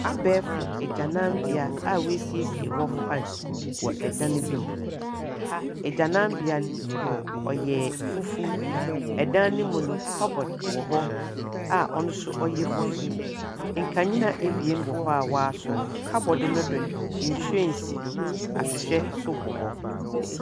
Abɛɛfo agyananbea a wɔasiesie hɔ fine wɔ dan bi mu. Agyananbea no, ɔyɛ fufuw. Dan no mu no, cupboard wɔ hɔ a ɔno nso ɔyɛ fufuw. Nkanea ebien wɔ hɔ a wɔasɔw. Cupboard no do no, nhwiren si do, ahwehwɛ nso bɔ hɔ.